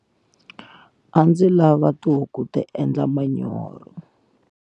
A ndzi lava tihuku ku endla manyoro.